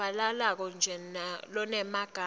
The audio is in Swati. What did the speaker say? lovakalako nje lonemagama